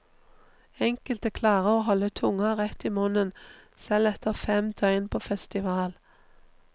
Enkelte klarer å holde tunga rett i munnen, selv etter fem døgn på festival.